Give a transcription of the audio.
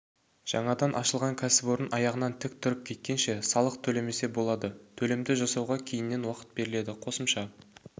жаңадан ашылған кәсіпорын аяғынан тік тұрып кеткенше салық төлемесе болады төлемді жасауға кейіннен уақыт беріледі қосымша